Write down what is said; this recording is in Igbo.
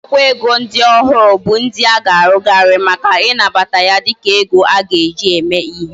Akwukwo ego ndi ohu bu ndi aga arughari Maka inabata ya dika ego aga eji na eme ihe